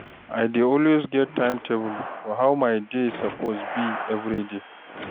I dey always get time-table for how my day suppose be everyday